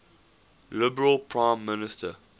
liberal prime minister